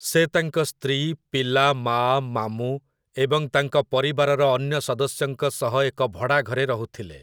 ସେ ତାଙ୍କ ସ୍ତ୍ରୀ, ପିଲା, ମାଆ, ମାମୁଁ, ଏବଂ ତାଙ୍କ ପରିବାରର ଅନ୍ୟ ସଦସ୍ୟଙ୍କ ସହ ଏକ ଭଡ଼ା ଘରେ ରହୁଥିଲେ ।